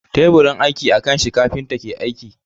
Teburin aiki a kan shi kafinta ke aiki.